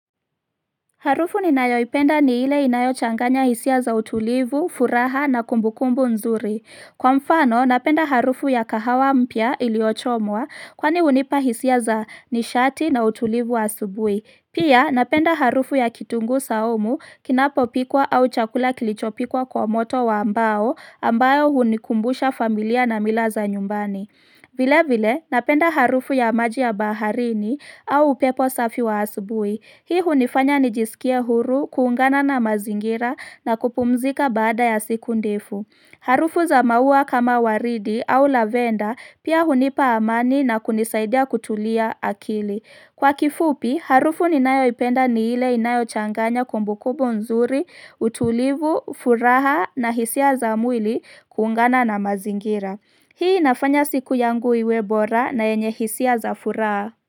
Harufu ninayoipenda ni ile inayo changanya hisia za utulivu, furaha na kumbukumbu nzuri. Kwa mfano, napenda harufu ya kahawa mpya iliyochomwa, kwani hunipa hisia za nishati na utulivu asubuhi. Pia, napenda harufu ya kitunguu saumu, kinapopikwa au chakula kilichopikwa kwa moto wa mbao, ambayo hunikumbusha familia na mila za nyumbani. Vile vile, napenda harufu ya maji ya baharini au upepo safi wa asubuhi. Hii hunifanya nijisikie huru, kuungana na mazingira na kupumzika baada ya siku ndefu. Harufu za maua kama waridi au lavenda pia hunipa amani na kunisaidia kutulia akili. Kwa kifupi, harufu ninayoipenda ni ile inayochanganya kumbukumbu nzuri, utulivu, furaha na hisia za mwili kuungana na mazingira. Hii inafanya siku yangu iwe bora na yenye hisia za furaha.